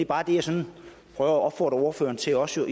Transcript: bare det jeg sådan prøver at opfordre ordføreren til også at